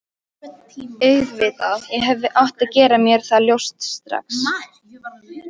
Auðvitað, ég hefði átt að gera mér það ljóst strax.